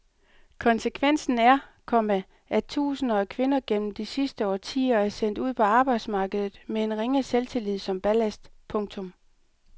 Konsekvensen er, komma at tusinder af kvinder gennem de sidste årtier er sendt ud på arbejdsmarkedet med en ringe selvtillid som ballast. punktum